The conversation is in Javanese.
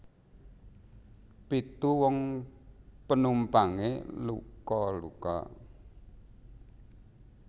Pitu wong penumpange luka luka